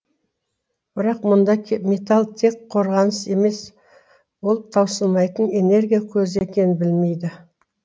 бірақ мұнда тек металл тек қорғаныс емес ол таусылмайтын энергия көзі екенін белмейді